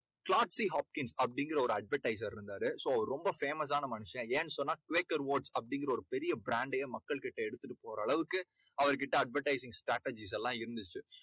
அப்படிங்கற ஒரு advertiser இருந்தாரு so ரொம்ப famous ஆன மனுஷன் ஏன்னு சொன்னா அப்படிங்கற ஒரு பெரிய brand டயே மக்கள்கிட்ட எடுத்துட்டுப்போற அளவுக்கு அவர்கிட்ட advertisement strategies லாம் இருந்துச்சு